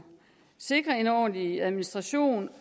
sikre en ordentlig administration